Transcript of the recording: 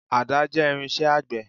Àdá jẹ́ irinṣẹ́ àgbẹ̀.